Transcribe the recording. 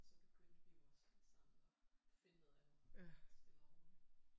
Så begyndte vi jo også alle sammen at finde noget andet stille og roligt